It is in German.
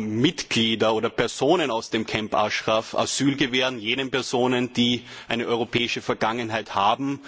Mitgliedern oder Personen aus dem Camp Ashraf Asyl gewähren, und zwar jenen Personen, die eine europäische Vergangenheit haben.